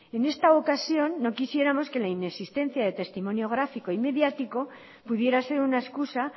en esta ocasión no quisiéramos que la inexistencia de testimonio gráfico y mediático pudiera ser una excusa